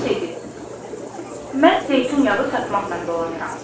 Biri dedi: “Mən zeytun yağı satmaqla dolanıram.